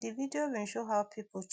di video bin show how